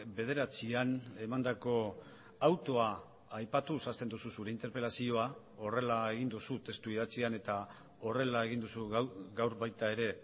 bederatzian emandako autoa aipatuz hasten duzu zure interpelazioa horrela egin duzu testu idatzian eta horrela egin duzu gaur baita ere